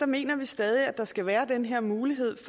mener vi stadig at der skal være den her mulighed